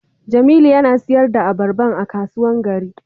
Jamilu yana sayar da albarba a kasuwan gari.